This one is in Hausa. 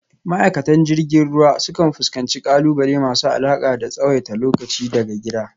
Ma’aikatan jirgin ruwa sukan fuskanci ƙalubale masu alaƙa da tsawaita lokaci daga gida,